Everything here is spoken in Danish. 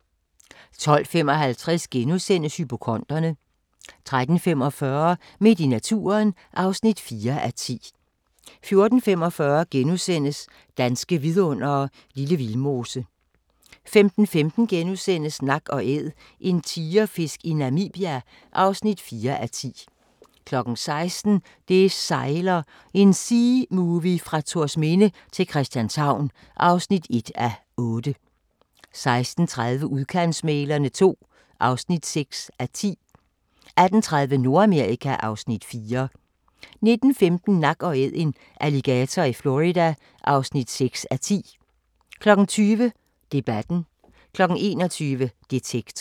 12:55: Hypokonderne * 13:45: Midt i naturen (4:10) 14:45: Danske Vidundere: Lille Vildmose * 15:15: Nak & Æd – en tigerfisk i Namibia (4:10)* 16:00: Det sejler – en seamovie fra Thorsminde til Christianshavn (1:8) 16:30: Udkantsmæglerne II (6:10) 18:30: Nordamerika (Afs. 4) 19:15: Nak & Æd – en alligator i Florida (6:10) 20:00: Debatten 21:00: Detektor